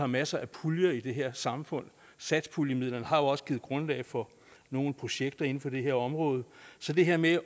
masser af puljer i det her samfund og satspuljemidlerne har jo også givet grundlag for nogle projekter inden for det her område så det her med